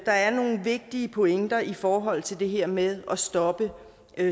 der er nogle vigtige pointer i forhold til det her med at stoppe